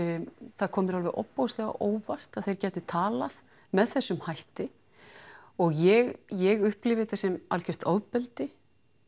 það kom mér alveg ofboðslega á óvart að þeir gætu talað með þessum hætti og ég ég upplifi þetta sem algjört ofbeldi